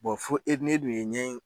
fo e dun n'e dun ye ɲɛ in